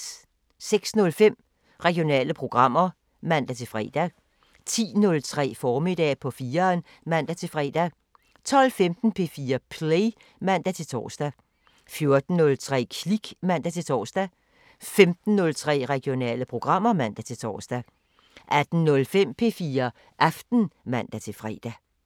06:05: Regionale programmer (man-fre) 10:03: Formiddag på 4'eren (man-fre) 12:15: P4 Play (man-tor) 14:03: Klik (man-tor) 15:03: Regionale programmer (man-tor) 18:05: P4 Aften (man-fre)